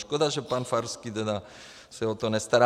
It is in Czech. Škoda, že pan Farský tedy se o to nestará.